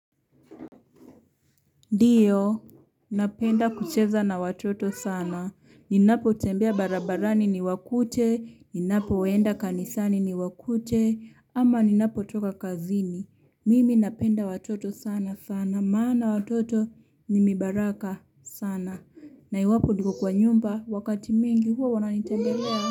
Ndio, napenda kucheza na watoto sana. Ninapo tembea barabarani ni wakute. Ninapo enda kanisani ni wakute. Ama ninapo toka kazini. Mimi napenda watoto sana sana. Maana watoto ni mibaraka sana. Na iwapo niko kwa nyumba wakati mingi huwa wananitembelea.